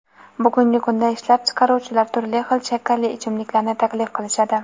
bugungi kunda ishlab chiqaruvchilar turli xil shakarli ichimliklarni taklif qilishadi.